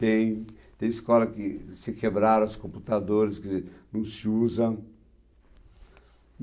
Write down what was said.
Tem, tem escola que se quebraram os computadores, quer dizer, não se usa.